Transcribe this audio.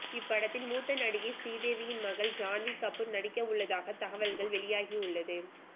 இப்படத்தில் மூத்த நடிகை ஸ்ரீதேவியின் மகள் ஜான்வி கபூர் நடிக்கவுள்ளதாக தகவல்கள் வெளியாகியுள்ளது